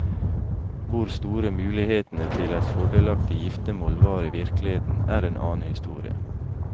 Hvor store mulighetene til et fordelaktig giftemål var i virkeligheten, er en annen historie.